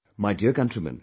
My dear countrymen